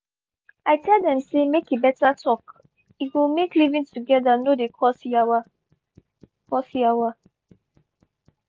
i tell dem say make beta talk e go make living together no dey cause yawa. cause yawa.